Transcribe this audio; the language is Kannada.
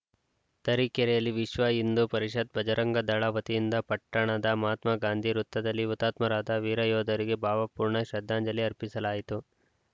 ತರೀಕೆರೆಯಲ್ಲಿ ವಿಶ್ವ ಹಿಂದೂ ಪರಿಷತ್‌ ಭಜರಂಗದಳ ವತಿಯಿಂದ ಪಟ್ಟಣದ ಮಹಾತ್ಮ ಗಾಂಧಿ ವೃತ್ತದಲ್ಲಿ ಹುತಾತ್ಮರಾದ ವೀರಯೋಧರಿಗೆ ಭಾವಪೂರ್ಣ ಶ್ರದ್ಧಾಂಜಲಿ ಅರ್ಪಿಸಲಾಯಿತು